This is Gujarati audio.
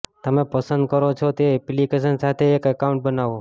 તમે પસંદ કરો છો તે એપ્લિકેશન સાથે એક એકાઉન્ટ બનાવો